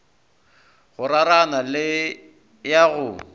go rarana le ya go